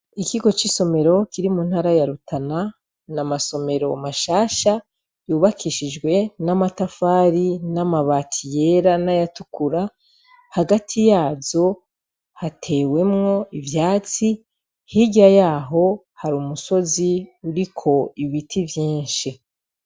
Ikigo c'isomero kiri mu ntara ya Rutana, ni amasomero mashasha yubakishijwe n'amatafari, n'amabati yera, n'ayatukura. Hagati yazo hatewemwo ivyatsi, hirya yaho hari umusozi uriko ibiti vyinshi.